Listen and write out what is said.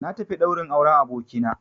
Na tafi ɗaurin auren abokina